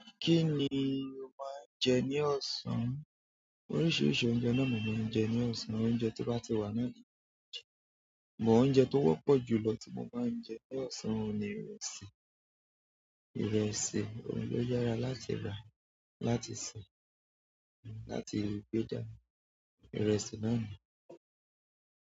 Kí ni o máa ń jẹ ní ọ̀sán? Oríṣiríṣi oúnjẹ ni mobń jẹ ní ọ̀sán, oúnjẹ tó bá ti wà ní. But oúnjẹ tó wọ́pọ̀ jù lọ tí mo máa ń jẹ ní ọ̀sán ni ìrẹsì. Ìrẹsì òun ló yára láti rà láti ṣè, láti gbé jáde. Ìrẹsì náà ni.